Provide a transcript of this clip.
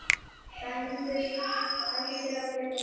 Dæmdur fyrir að drepa hund